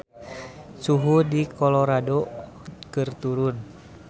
Suhu di Colorado keur turun